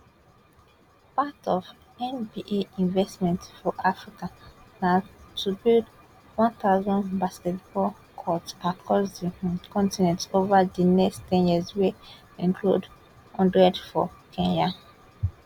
part of nba investment for africa na to build 1000 basketball courts across di um continent ova di next ten years wey include one hundred for kenya